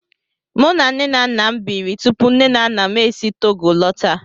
Mụ na nne na nna nnem biri tupu nne na nna m e si Togo lọta.